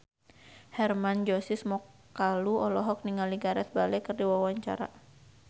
Hermann Josis Mokalu olohok ningali Gareth Bale keur diwawancara